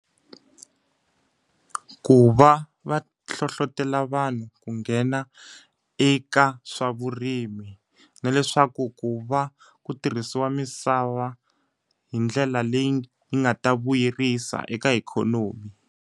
Ku va va hlohletelo vanhu ku nghena eka swa vurimi, na leswaku ku va ku tirhisiwa misava hi ndlela leyi yi nga ta vuyerisa eka ikhonomi.